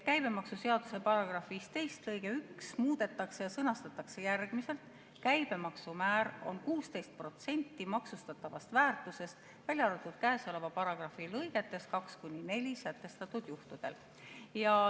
Käibemaksuseaduse § 15 lõiget 1 muudetakse ja see sõnastatakse järgmiselt: "Käibemaksumäär on 16% maksustatavast väärtusest, välja arvatud käesoleva paragrahvi lõigetes 2–4 sätestatud juhtudel.